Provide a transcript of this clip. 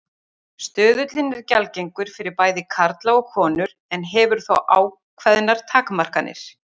Stuðullinn er gjaldgengur fyrir bæði karla og konur en hefur þó ákveðnar takmarkanir.